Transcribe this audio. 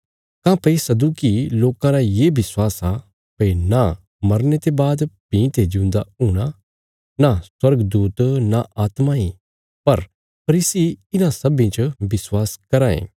काँह्भई सदूकी लोकां रा ये विश्वास आ भई नां मरने ते बाद भीं ते जिऊंदा हूणा नां स्वर्गदूत नां आत्मा इ पर फरीसी इन्हां सब्बीं च विश्वास कराँ ये